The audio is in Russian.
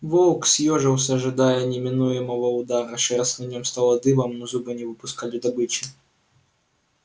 волк съёжился ожидая неминуемого удара шерсть на нем встала дыбом но зубы не выпускали добычи